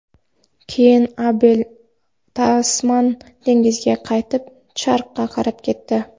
Keyin Abel Tasman dengizga qaytib, sharqqa qarab ketdi.